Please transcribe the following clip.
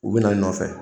U bɛ na nɔfɛ